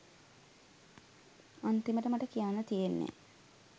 අන්තිමට මට කියන්න තියෙන්නේ